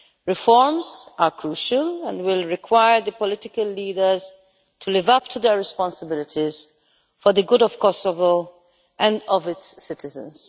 Reforms are crucial and will require the political leaders to live up to their responsibilities for the good of Kosovo and of its citizens.